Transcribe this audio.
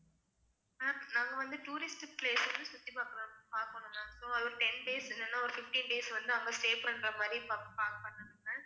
ma'am நாங்க வந்து tourist place வந்து சுத்தி பாக்கலாம் பாக்கணும் ma'am so அது ஒரு ten days உ இல்லைன்னா ஒரு fifteen days வந்து அவங்க stay பண்ற மாதிரி பாக்~ ma'am